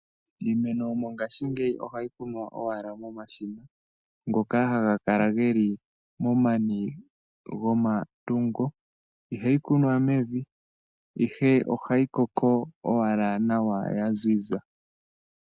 Iimeno mongaashingeyi ohayi kunwa owala momashina ngoka haga kala geli momani gomatungo. Ihayi kunwa mevi ihe ohayi koko owala nawa ya ziza.